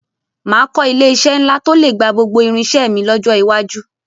Màá kọ́ ilé-iṣẹ́ ńlá tó lè gba gbogbo irinṣẹ́ mi lọ́jọ́ iwájú